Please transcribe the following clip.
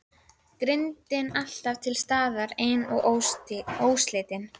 Girndin alltaf til staðar ein og óslitin.